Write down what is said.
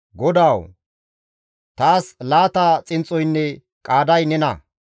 GODAWU! Taas laata xinxxoynne qaaday nena;